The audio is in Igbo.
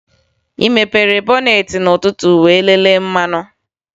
Ị mepere bọneetị n'ụtụtụ wee lelee mmanụ?